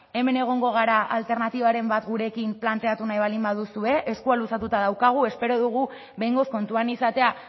hemen egongo gara alternatibaren bat gurekin planteatu nahi baldin baduzue eskua luzatuta daukagu espero dugu behingoz kontuan izatea